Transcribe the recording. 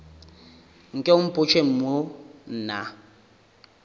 nke o mpotše mo na